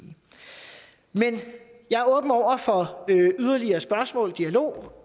men jeg er åben over for yderligere spørgsmål og dialog